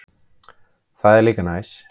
Það er líka næs.